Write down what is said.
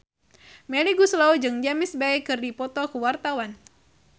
Melly Goeslaw jeung James Bay keur dipoto ku wartawan